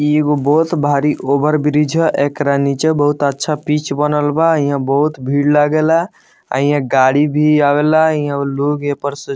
इ एगो बहुत भारी ओवरब्रिज ह। एकरा नीचे बहुत अच्छा पिच बनल बा। इहां बहुत भीड़ लागे ला। आ इहां गाड़ी भी आवे ला। इहां लोग ए पर से --